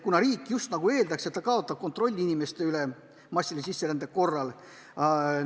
Riik justnagu eeldaks, et ta kaotab massilise sisserände korral kontrolli inimeste üle.